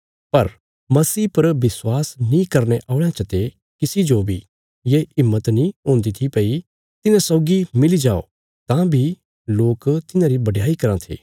पर मसीह पर विश्वास नीं करने औल़यां चते किसी जो बी ये हिम्मत नीं हुंदी थी भई तिन्हां सौगी मिली जाओ तां बी लोक तिन्हांरी बडयाई कराँ थे